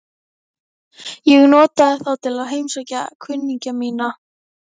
Ég notaði þá til að heimsækja kunningja mína.